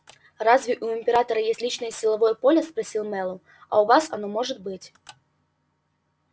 разве у императора есть личное силовое поле спросил мэллоу а у вас оно может быть